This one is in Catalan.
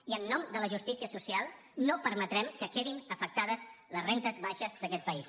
i en nom de la justícia social no permetrem que quedin afectades les rendes baixes d’aquest país